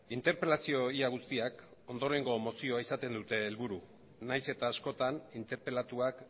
interpelazio ia guztiak ondorengo mozioa izaten dute helburu nahiz eta askotan interpelatuak